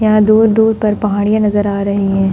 यहाँ दूर-दूर पर पहाड़ियाँ नज़र आ रही हैं।